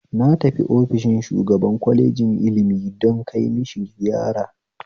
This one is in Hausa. Na tafi ofishin shugaban kwalejin ilmi don kai mishi ziyara